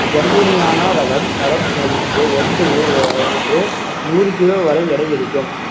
ஜம்பூனியானா ரகம் மரம் பயின்று ஒன்று ஒ~ ஒ~ ஒன்று நூறு கிலோ வரை எடை இருக்கும்